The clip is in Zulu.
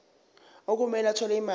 okumele athole imali